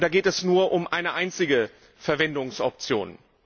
Da geht es nur um eine einzige Verwendungsoption.